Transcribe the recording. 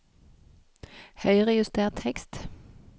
Høyrejuster tekst